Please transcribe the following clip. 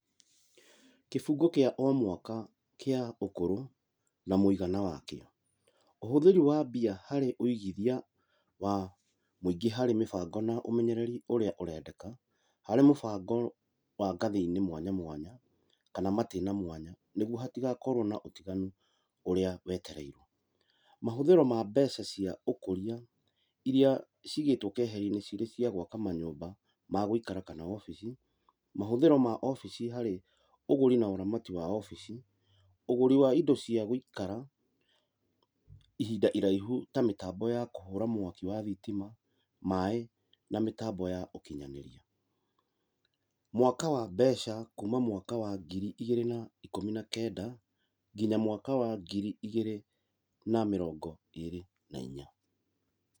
Kĩbungo kĩa o mwaka kĩa ũkũrũ na mũigana wakĩo, ũhũthĩri wa mbia harĩ ũigĩthia wa mũingĩ harĩ mĩbango na ũmenyereri ũrĩa ũrenda harĩ mũbango wa ngathĩ-inĩ mwanya mwanya kana matĩna mwanya, nĩguo hatigakorwo na ũtiganu ũrĩa wetereirwo. Mahũthĩro ma mbeca cia ũkũria iria cigĩtwo keheri-inĩ cirĩ cia gwaka manyũmba ma gũikara kana obici, mahũthĩro ma obici harĩ ũgũri na ũramati wa obici. Ũgũri wa indo cia gũikara ihinda iraihu ta mĩtambo ya kũhũra mwaki wa thitima, maaĩ na mĩtambo ya ũkinyanĩria. Mwaka wa mbeca kuma mwaka wa ngiri igĩrĩ na ikũmi na kenda nginya mwaka wa ngiri igĩrĩ na mĩrongo ĩrĩ na inya.